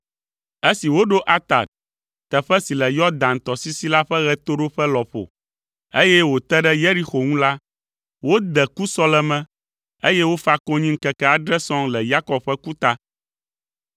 Esi woɖo Atad, teƒe si le Yɔdan tɔsisi la ƒe ɣetoɖoƒe lɔƒo, eye wòte ɖe Yeriko ŋu la, wode kusɔleme, eye wofa konyi ŋkeke adre sɔŋ le Yakob ƒe ku ta.